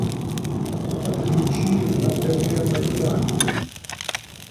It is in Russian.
подключи на тв майдан